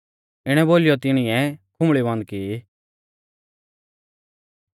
इणै बोलीयौ तिणीऐ खुंबल़ी बन्द की